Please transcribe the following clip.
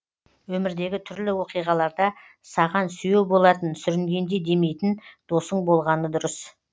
өмірдегі түрлі оқиғаларда саған сүйеу болатын сүрінгенде демейтін досың болғаны дұрыс